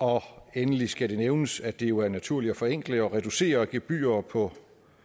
endelig skal det nævnes at det jo er naturligt at forenkle og reducere gebyrer på